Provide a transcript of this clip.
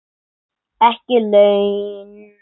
Ekki laun.